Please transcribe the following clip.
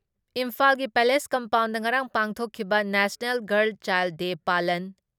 ꯏꯝꯐꯥꯜꯒꯤ palace compound ꯉꯔꯥꯡ ꯄꯥꯡꯊꯣꯛꯈꯤꯕ ꯅꯦꯁꯅꯦꯜ ꯒꯥꯔꯜ ꯆꯥꯏꯜ ꯗꯦ ꯄꯥꯂꯟ